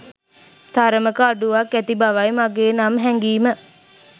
තරමක අඩුවක් ඇති බවයි මගේ නම් හැගීම.